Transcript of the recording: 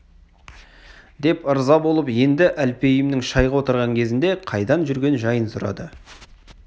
деп ырза болып енді әлпейімнің шайға отырған кезінде қайдан жүрген жайын сұрады